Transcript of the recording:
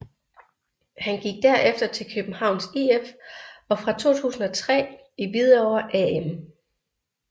Han gik derefter til Københavns IF og fra 2003 i Hvidovre AM